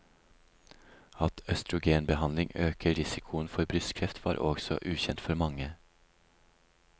At østrogenbehandling øker risikoen for brystkreft var også ukjent for mange.